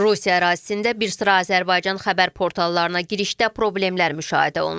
Rusiya ərazisində bir sıra Azərbaycan xəbər portallarına girişdə problemlər müşahidə olunur.